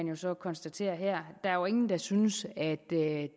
jo så konstatere her der er jo ingen der synes at det